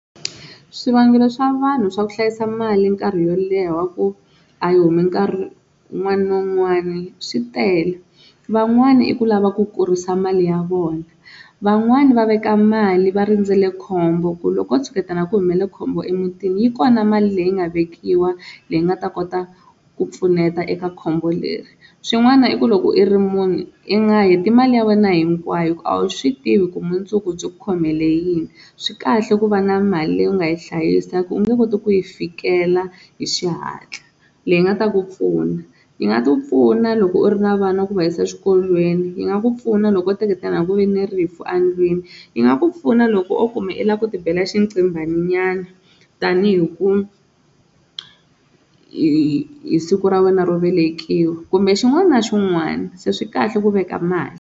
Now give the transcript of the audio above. Swivangelo swa vanhu swa ku hlayisa mali nkarhi wo leha wa ku a yi humi nkarhi wun'wani na wun'wani swi tele van'wana i ku lava ku kurisa mali ya vona van'wani va veka mali va rindzele khombo ku loko ko tshuketana ku humelele khombo emutini yi kona mali leyi nga vekiwa leyi nga ta kota ku pfuneta eka khombo leri, swin'wana i ku loko i ri munhu i nga heti mali ya wena hinkwayo hi ku a wu swi tivi ku mundzuku byi ku khomele yini, swi kahle ku va na mali leyi u nga yi hlayisa hi ku u nge koti ku yi fikela hi xihatla leyi nga ta ku pfuna yi nga ku pfuna loko u ri na vana va ku va yisa exikolweni, yi nga ku pfuna loko o teketana ku ve ni rifu endlwini, yi nga ku pfuna loko o kuma i lava ku tibela xinqinghwani nyana tanihi ku hi siku ra wena ro velekiwa kumbe xin'wana na xin'wana se swi kahle ku veka mali.